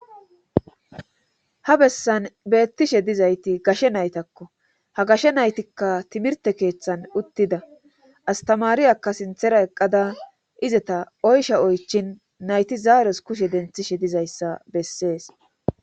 ha bessan beettishe dizayti gashe naytakko ha gashe naytikka timirte keeththan uttida astamaariyakka sinthera eqqada izeta oysha oychin nayti zaaros kushe denthishe dizayssa bessees